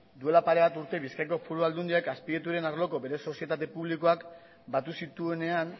duela pare bat urte bizkaiko foru aldundiak azpiegituren arloko bere sozietate publikoak batu zituenean